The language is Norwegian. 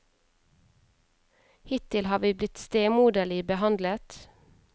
Hittil har vi blitt stemoderlig behandlet.